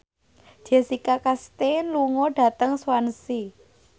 Jessica Chastain lunga dhateng Swansea